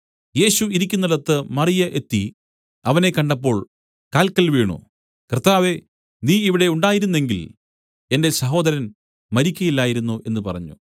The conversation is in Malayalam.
യേശു ഇരിക്കുന്നിടത്ത് മറിയ എത്തി അവനെ കണ്ടപ്പോൾ കാല്ക്കൽ വീണു കർത്താവേ നീ ഇവിടെ ഉണ്ടായിരുന്നു എങ്കിൽ എന്റെ സഹോദരൻ മരിക്കയില്ലായിരുന്നു എന്നു പറഞ്ഞു